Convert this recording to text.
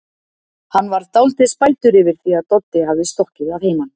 Hann varð dálítið spældur yfir því að Doddi hafði stokkið að heiman.